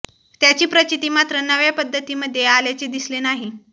त्याची प्रचिती मात्र नव्या पद्धतीमध्ये आल्याचे दिसले नाही